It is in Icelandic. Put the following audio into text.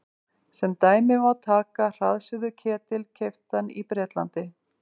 sem dæmi má taka hraðsuðuketil keyptan í bretlandi